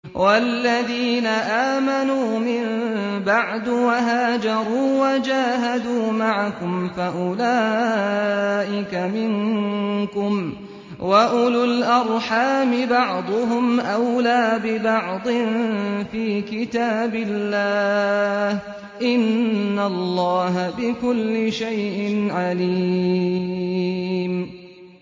وَالَّذِينَ آمَنُوا مِن بَعْدُ وَهَاجَرُوا وَجَاهَدُوا مَعَكُمْ فَأُولَٰئِكَ مِنكُمْ ۚ وَأُولُو الْأَرْحَامِ بَعْضُهُمْ أَوْلَىٰ بِبَعْضٍ فِي كِتَابِ اللَّهِ ۗ إِنَّ اللَّهَ بِكُلِّ شَيْءٍ عَلِيمٌ